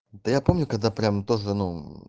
да я помню когда прям тоже ну